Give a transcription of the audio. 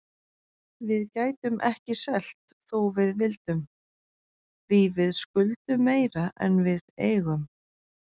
Við gætum ekki selt þó við vildum, því við skuldum meira en við eigum.